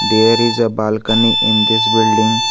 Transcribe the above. There is a balcony in this building.